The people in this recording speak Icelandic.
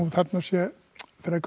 þarna sé